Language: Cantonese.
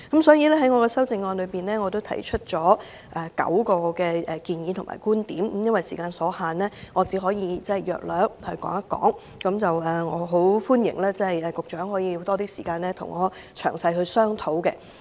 所以，我的修正案提出了9項建議及觀點，由於時間所限，我只能簡述各點，歡迎局長花多點時間與我詳細商討。